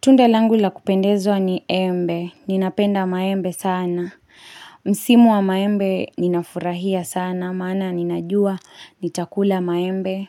Tunda langu la kupendezwa ni embe, ninapenda maembe sana. Msimu wa maembe ninafurahia sana, maana ninajua nitakula maembe,